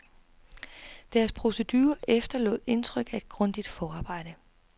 Deres procedure efterlod indtryk af et grundigt forarbejde.